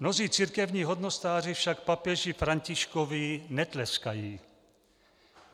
Mnozí církevní hodnostáři však papeži Františkovi netleskají.